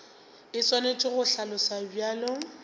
e swanetše go hlaloswa bjalo